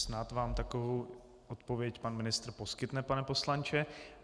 Snad vám takovou odpověď pan ministr poskytne, pane poslanče.